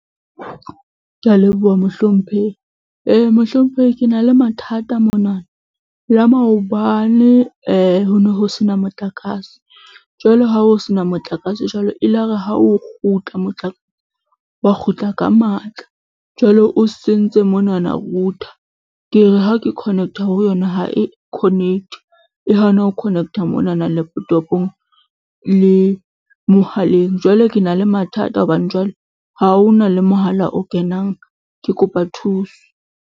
Ke a leboha mohlomphehi. mohlomphehi ke na le mathata mona la maobane ho ne ho sena motlakase jwale ha ho sena motlakase jwalo elare ha o kgutla motlakase wa kgutla ka matla jwale o sentse monana router, ke re ha ke connect-a ho yona ha e connect-e, e hana ho connect-a monana laptop-ong le mohaleng, jwale ke na le mathata hobane jwale ha ho na le mohala o kenang. Ke kopa thuso.